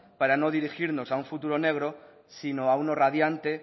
para no dirigirnos a un futuro negro sino a uno radiante